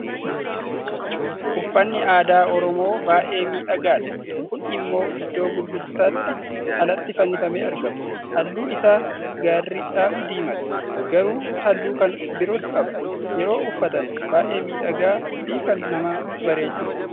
Uffanni aadaa Oromoo baay'ee miidhagaadha. Kun immoo iddoo gurgurtaatti alatti fannifamee argama. Halluu isaa garri caalu diimaadha. Garuu halluu kan biroos qaba. Yeroo uffatan baay'ee miidhagaa fi kan nama bareechudha.